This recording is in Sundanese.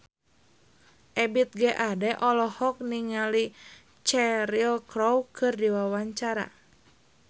Ebith G. Ade olohok ningali Cheryl Crow keur diwawancara